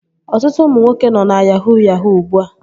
Ọtụtụ ụmụ nwoke nọ na yahuu yahuu ugbua